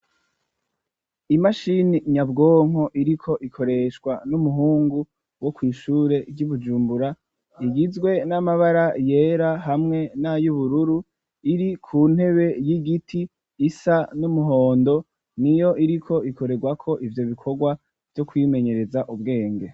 Imashini nyabwonko iriko ikoreshwa n'umuhungu wo kw'ishure ry'ubujumbura igizwe n'amabara yera hamwe n'ayoubururu iri ku ntebe y'igiti isa n'umuhondo ni yo iriko ikorerwako ivyo bikorwa vyo kwimenyereza ubwenge.